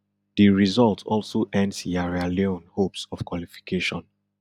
di result also end sierra leone hopes of qualification